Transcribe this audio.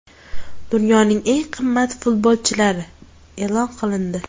Dunyoning eng qimmat futbolchilari e’lon qilindi.